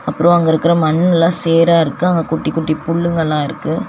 அப்றோ அங்கருக்குற மண்ணுலா சேரா இருக்கு அங்க குட்டி குட்டி புல்லுங்கலா இருக்கு.